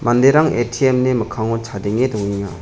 manderang A_T_M ni mikkango chadenge dongenga.